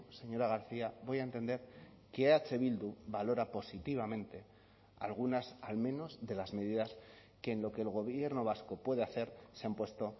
señora garcia voy a entender que eh bildu valora positivamente algunas al menos de las medidas que en lo que el gobierno vasco puede hacer se han puesto